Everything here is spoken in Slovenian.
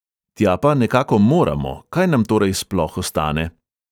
Tja pa nekako moramo, kaj nam torej sploh ostane?